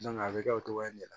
a bɛ kɛ o cogoya de la